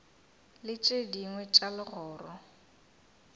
le tše dingwe tša legoro